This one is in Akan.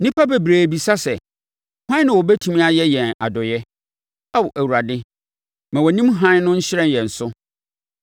Nnipa bebree bisa sɛ: “Hwan na ɔbɛtumi ayɛ yɛn adɔeɛ?” Ao Awurade, ma wʼanim hann no nhyerɛn yɛn so.